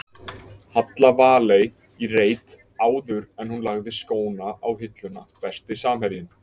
Halla Valey í reit áður en hún lagði skóna á hilluna Besti samherjinn?